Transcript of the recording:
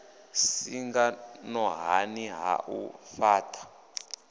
singa nṱhani ha u fhaṱha